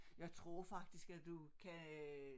Jeg tror faktisk at du kan øh